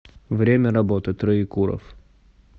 время работы троекуровъ